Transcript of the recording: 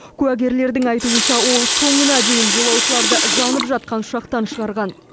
куәгерлердің айтуынша ол соңына дейін жолаушыларды жанып жатқан ұшақтан шығарған